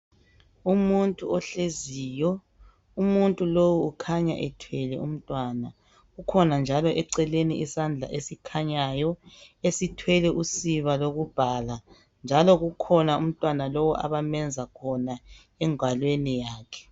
Umuntu ohleziyo. Umuntu lowu ukhanya ethwele umntwana. Kukhona njalo eceleni isandla esikhanyayo esithwele usiba lokubhala njalo kukhona umntwana lo abamenza khona engalweni yakhe.